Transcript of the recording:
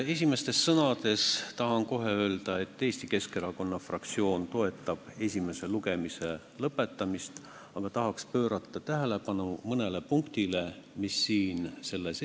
Esimeste sõnadena tahan kohe öelda, et Eesti Keskerakonna fraktsioon toetab esimese lugemise lõpetamist, aga tahaks pöörata tähelepanu mõnele punktile, mis siin eelnõus on.